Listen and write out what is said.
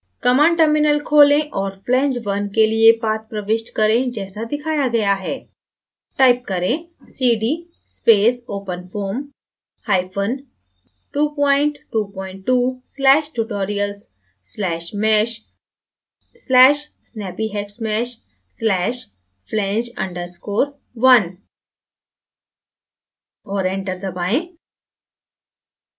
command terminal खोलें और flange _ 1 के लिए path प्रविष्ट करें जैसे दिखाया गया है type करें: cd space openfoam222/tutorials/mesh/snappyhexmesh/flange _ 1 और enter दबाएँ